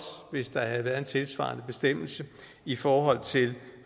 hvis der havde været en tilsvarende bestemmelse i forhold til